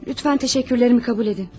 Lütfən təşəkkürlərimi qəbul edin.